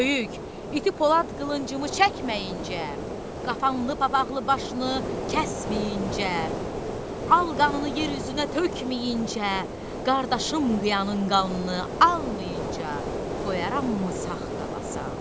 Böyük, iti Polad qılıncımı çəkməyincə, qapanlı papaqlı başını kəsməyincə, al qanını yer üzünə tökməyincə, qardaşım qıyanın qanını almayınca qoyarammı sağ qalasan?